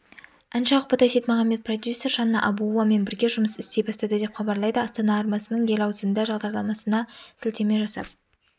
әнші ақбота сейітмағамбет продюсер жанна абуовамен бірге жұмыс істей бастады деп хабарлайды астана арнасының ел аузында бағдарламасына сілтеме жасап